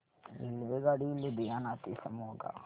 रेल्वेगाडी लुधियाना ते मोगा